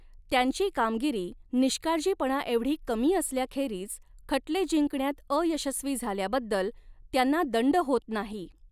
त्यांची कामगिरी निष्काळजीपणाएवढी कमी असल्याखेरीज खटले जिंकण्यात अयशस्वी झाल्याबद्दल त्यांना दंड होत नाही.